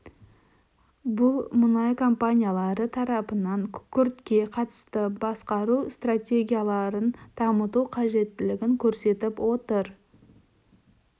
бұл мұнай компаниялары тарапынан күкіртке қатысты басқару стратегияларын дамыту қажеттілігін көрсетіп отыр